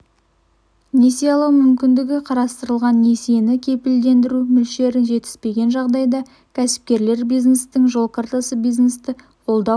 несие алу мүмкіндігі қарастырылған несиені кепілдендіру мөлшері жетіспеген жағдайда кәсіпкерлер бизнестің жол картасы бизнесті қолдау